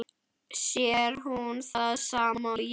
Sér hún það sama og ég?